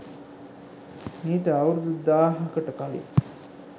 මීට අවුරුදු දාහකට කලින්